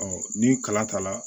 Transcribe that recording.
ni kala ta la